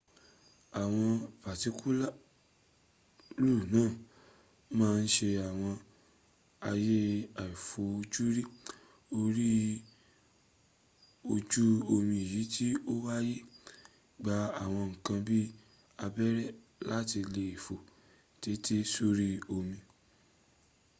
àwọn patikulu náà màa ǹ sẹ àwọn àyè àifojúrí orí ojú omi èyí tí o fàyè gbà àwọn nkan bi abẹ́rẹ́ láti léèfó téńté sórí omi